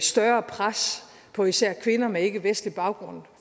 større pres på især kvinder med ikkevestlig baggrund